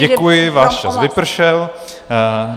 Děkuji, váš čas vypršel.